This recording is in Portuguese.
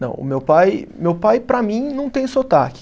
Não, o meu pai, meu pai para mim não tem sotaque.